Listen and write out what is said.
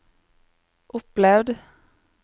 opplevd